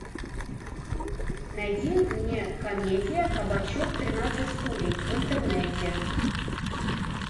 найди мне комедия кабачок тринадцать стульев в интернете